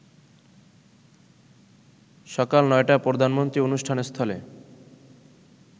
সকাল ৯টায় প্রধানমন্ত্রী অনুষ্ঠানস্থলে